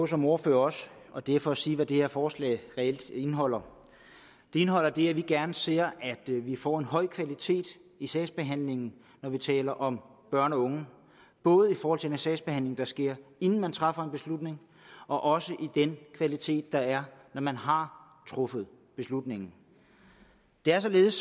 som ordfører og det er for at sige hvad det her forslag reelt indeholder det indeholder det at vi gerne ser at vi får en høj kvalitet i sagsbehandlingen når vi taler om børn og unge både forhold til den sagsbehandling der sker inden man træffer en beslutning og også i den kvalitet der er når man har truffet beslutningen det er således